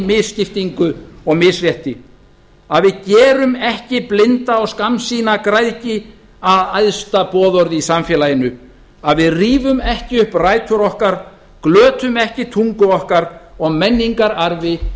misskiptingu og misrétti að við gerum ekki blinda og skammsýna græðgi að æðsta boðorði í samfélaginu að við rífum ekki upp rætur okkar glötum ekki tungu okkar og menningararfi